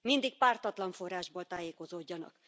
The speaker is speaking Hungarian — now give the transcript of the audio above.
Mindig pártatlan forrásból tájékozódjanak.